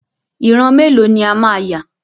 Ìran mélòó ni a máa yà?